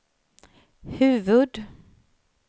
huvud